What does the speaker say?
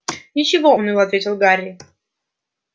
ничего уныло ответил гарри